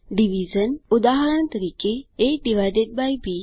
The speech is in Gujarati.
ડીવીઝન ઉદાહરણ તરીકે aબી